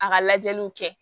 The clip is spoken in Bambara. A ka lajɛliw kɛ